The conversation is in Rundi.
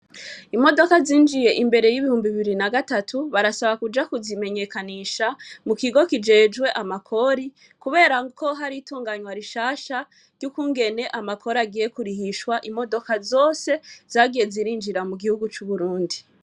Imodoka zinjiye imbere y'ibihumbi iiri na gatatu barasaba kuja kuzimenyekanisha mu kigo kijejwe amakori, kubera ko hari tunganywa rishasha ry'ukungene amakori agiye kurihishwa imodoka zose zagiye zirinjira mu gihugu c'uburundi.